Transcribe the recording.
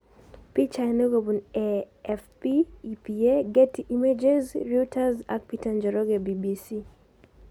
Pichainik kopun AFP, EPA, Getty Images, Reuters ak Peter Njoroge BBC